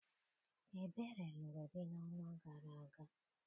Ebere lụrụ di n'ọnwa gara aga.